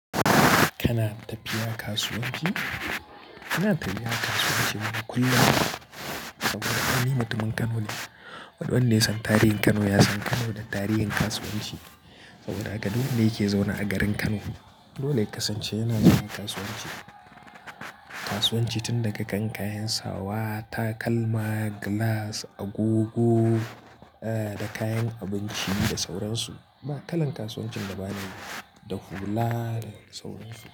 Kana tafiya kasuwanci? Ina tafiya kasuwa cemaka kullum. Saboda aini mutumin Kano ne. Wadanne sun tarihin Kano ya san Kano da tarihin kasuwanci saboda gaduwa ne ke zaune a garin Kano. Dole ya kasance yana cikin kasuwanci. Kasuwanci tun daga kan kayan sawa, takalma, gilas, agogo, da kayan abinci da sauran su. Ba kalan kasuwancin da ba ne da hula da sauran su.